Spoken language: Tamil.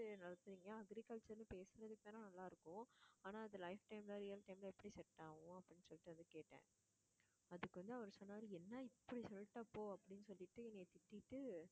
நடத்தறீங்க agriculture ன்னு பேசுனதுக்குத்தானே, நல்லா இருக்கும். ஆனா அது life time ல real time ல எப்படி set ஆகும் அப்படின்னு சொல்லிட்டு வந்து கேட்டேன் அதுக்கு வந்து அவர் சொன்னாரு என்ன இப்படி சொல்லிட்ட போ அப்படின்னு சொல்லிட்டு என்னைய திட்டிட்டு